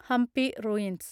Hampi ruins